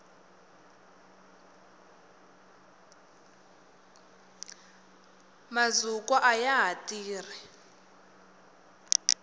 mazukwa ayaha tirhi